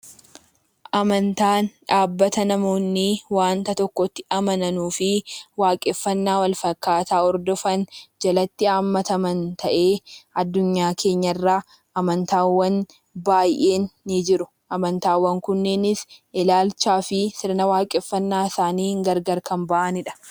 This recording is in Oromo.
Amantaan dhaabbata namoonni wanta tokkotti amananuufi waaqeffannaa wal-fakkaataa hordofan jalatti hammataman tahee addunyaa keenya irraa amantaawwan baayeen ni jiru. Amantaawwan kunneenis ilaalchaa fi sirna waaqeffannaa isaaniin gargar Kan bahaniidha.